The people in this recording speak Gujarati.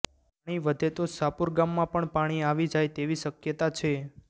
પાણી વધે તો શાપુર ગામમાં પણ પાણી આવી જાય તેવી શકયતા છે